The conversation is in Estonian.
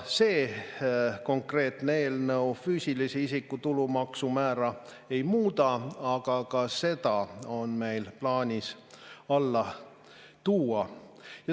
See konkreetne eelnõu füüsilise isiku tulumaksumäära ei muuda, aga ka see on meil plaanis alla tuua.